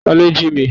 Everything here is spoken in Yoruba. Ta ló jí mi?